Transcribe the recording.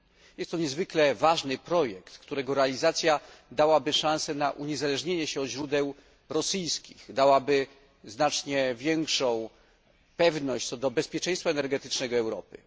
Jest to niezwykle ważny projekt, którego realizacja dałaby szansę na uniezależnienie się od źródeł rosyjskich, dałaby znacznie większą pewność co do bezpieczeństwa energetycznego Europy.